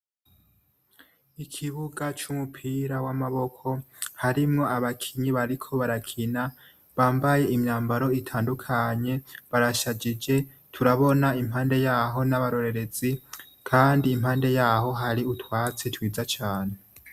Ikibuga c'umupira w'amaboko harimwo abakinyi bariko barakina; bambaye imyambaro itandukanye barashagije. Turabona impande y'aho n'abarorerezi kandi impande y'aho hari utwatsi twiza cane.